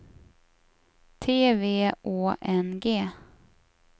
T V Å N G